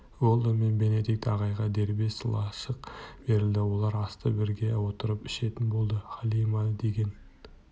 уэлдон мен бенедикт ағайға дербес лашық берілді олар асты бірге отырып ішетін болды халима деген